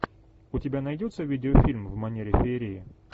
у тебя найдется видеофильм в манере феерии